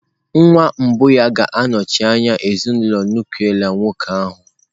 Nwa mbụ ya ga-anọchi anya ezinụlọ nuklia nwoke ahụ.